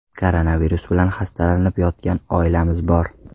Koronavirus bilan xastalanib yotgan oilamiz bor.